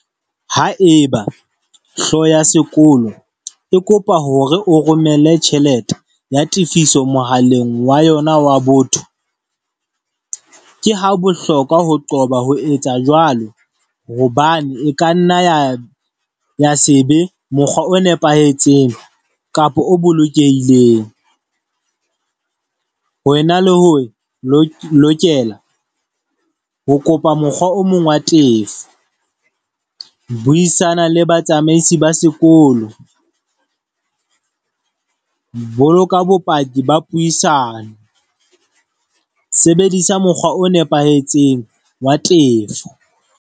Haeba hlooho ya sekolo e kopa hore o romelle tjhelete ya tifiso mohaleng wa yona wa botho, ke ha bohlokwa ho qoba ho etsa jwalo hobane e ka nna ya sebe mokgwa o nepahetseng kapa o bolokehileng. Wena le ho lokela ho kopa mokgwa o mong wa tefo, buisana le batsamaisi ba sekolo, boloka bopaki ba puisano, sebedisa mokgwa o nepahetseng wa tefo.